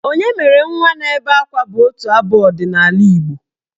"Onye mere nwa na-ebe akwa" bụ otu abụ ọdịnaala Igbo.